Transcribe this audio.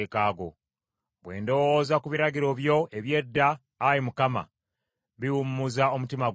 Bwe ndowooza ku biragiro byo eby’edda, Ayi Mukama , biwummuza omutima gwange.